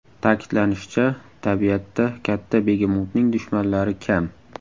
Ta’kidlanishicha, tabiatda katta begemotning dushmanlari kam.